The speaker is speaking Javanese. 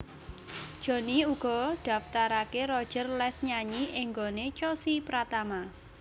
Jhonny uga ndaftarké Roger les nyanyi ing nggoné Chossy Pratama